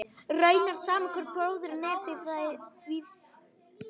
Raunar sama hvor bróðirinn er þegar því er að skipta.